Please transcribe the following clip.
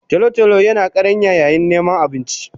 Tolo tolo yina karanya yayin niman abinci